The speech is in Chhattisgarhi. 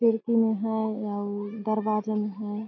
खिड़की में है अउ दरवाजे में है।